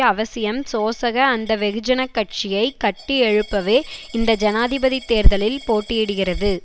அவசியம் சோசக அந்த வெகுஜன கட்சியை கட்டியெழுப்பவே இந்த ஜனாதிபதி தேர்தலில் போட்டியிடுகிறது